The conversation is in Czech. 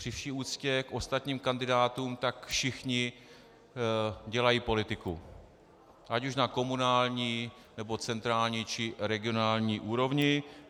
Při vší úctě k ostatním kandidátům, tak všichni dělají politiku, ať už na komunální, nebo centrální, či regionální úrovni.